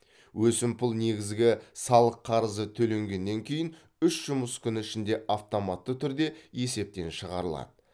өсімпұл негізгі салық қарызы төленгеннен кейін үш жұмыс күні ішінде автоматты түрде есептен шығарылады